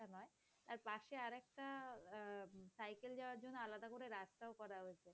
তার পাশে আর একটা সাইকেল যাওয়ার জন্য আহ আলাদা করে রাস্তা করে হয়েছে।